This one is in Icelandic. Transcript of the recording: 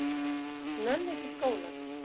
Nenni ekki í skólann.